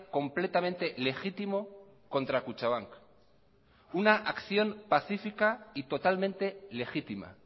completamente legítimo contra kutxabank una acción pacífica y totalmente legítima